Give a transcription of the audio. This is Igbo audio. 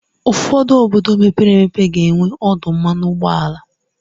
ụfọdụ obodo mepere emepe ga-enwe ọdụ mmanụ ụgbọala.